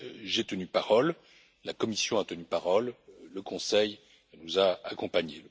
J'ai tenu parole, la Commission a tenu parole, le Conseil nous a accompagnés.